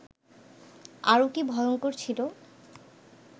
আরও কি ভয়ঙ্কর ছিল